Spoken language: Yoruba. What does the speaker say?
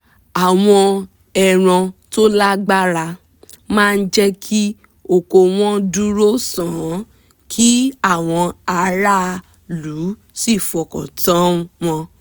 àwọn ẹran tó lágbára máa jẹ́ kí oko wọn dúró sán kí àwọn aráàlú sì fọkàn tán wọn